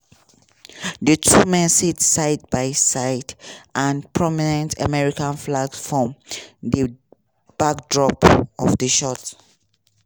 di two men sit side by side and prominent american flags form di backdrop of di shot.